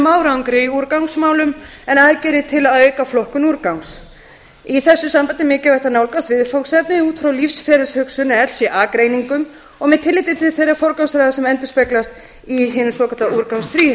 árangri í úrgangsmálum en aðgerðir til að auka flokkun úrgangs í þessu sambandi er mikilvægt að nálgast viðfangsefnið út frá lífsferilshugsun eða lc greiningum og með tilliti til þeirrar forgangsraðar sem endurspeglast í hinum svokallaða